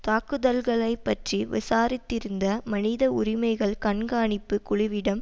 தாக்குதல்களைப் பற்றி விசாரித்திருந்த மனித உரிமைகள் கண்காணிப்பு குழுவிடம்